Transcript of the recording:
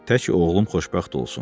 Tək oğlum xoşbəxt olsun.